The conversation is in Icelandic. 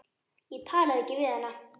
Ég talaði ekki við hana.